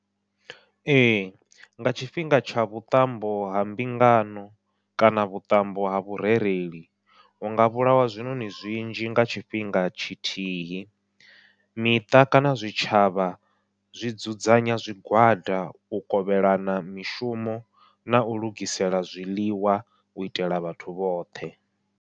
Ee nga tshifhinga tsha vhuṱambo ha mbingano kana vhuṱambo ha vhurereli, hunga vhulawa zwiṋoṋi zwinzhi nga tshifhinga tshithihi, miṱa kana zwitshavha zwi dzudzanya zwigwada u kovhelana mishumo nau lugisela zwiḽiwa u itela vhathu vhoṱhe.